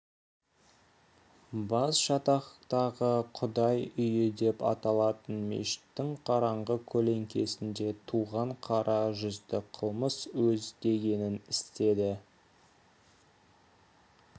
басжатақтағы құдай үйі деп аталатын мешіттің қараңғы көлеңкесінде туған қара жүзді қылмыс өз дегенін істеді